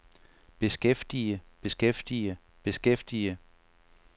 beskæftige beskæftige beskæftige